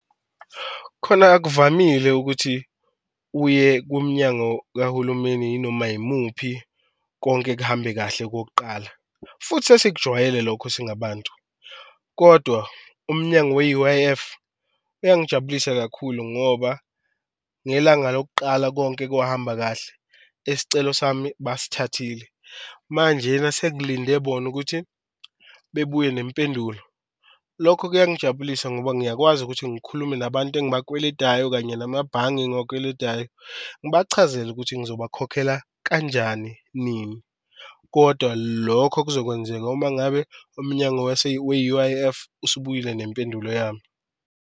Khona akuvamile ukuthi uye kumnyango kahulumeni inoma yimuphi konke kuhambe kahle okokuqala futhi sesijwayele lokho singabantu, kodwa umnyango we-U_I_F uyangijabulisa kakhulu ngoba ngelanga lokuqala konke kungahamba kahle isicelo sami basithathile manjena sengilinde bona ukuthi bebuye nempendulo. Lokho kuyangijabulisa ngoba ngiyakwazi ukuthi ngikhulume nabantu engibakweledayo kanye namabhange engibakweledayo, ngibachazele ukuthi ngizobakhokhela kanjani, nini kodwa lokho kuzokwenzeka uma ngabe omnyango we-U_I_F usubuyile nempendulo yami.